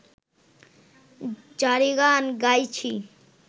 জারিগান গাইছি